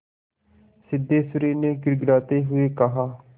सिद्धेश्वरी ने गिड़गिड़ाते हुए कहा